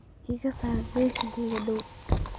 ka saar liiskaygii dhawaa